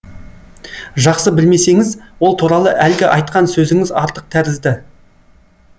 жақсы білмесеңіз ол туралы әлгі айтқан сөзіңіз артық тәрізді